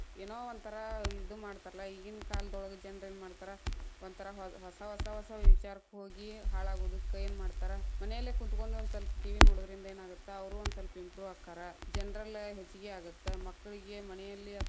ಏನೋ ಒಂಥರಾ ಇದು ಮಾಡ್ತಾಲಾ೯ ಈಗೀನ ಕಾಲದೋಳಗ್‌ ಜನ್ರ ಏನ್‌ ಮಾಡ್ತಾರ, ಒಂಥರಾ ಹೊಸ ಹೊಸ ಹೊಸಾವ್‌ ವಿಚಾರಕ್ ಹೋಗಿ ಹಾಳಾಗುದಕ್ಕೇನ ಮಾಡ್ತಾರಾ ಮನೆಯಲ್ಲೆ ಕುಂತಗೊಂಡ ಒಂದ್ ಸ್ವಲ್ಪ TV ನೋಡೊದ್ರಿಂದ್‌ ಏನಾಗತ್ತ ಅವ್ರು ಒಂದ ಸ್ವಲ್ಪ improve ಅಕ್ಕಾರ, ‌general ಹೆಚಗಿ ಆಗತ್ತ್ ಮಕ್ಕಳಿಗೆ ಮನೆಯಲ್ಲಿ ಆತ್.